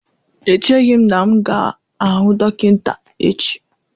Echeghị m na m ga-ahụ dọkịta echi